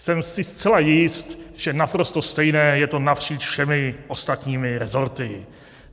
Jsem si zcela jist, že naprosto stejné je to napříč všemi ostatními resorty.